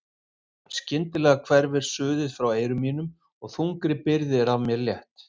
Jafn skyndilega hverfur suðið frá eyrum mínum og þungri byrði er af mér létt.